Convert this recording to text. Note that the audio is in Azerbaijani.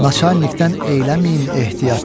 Naçalnikdən eyləməyin ehtiyat.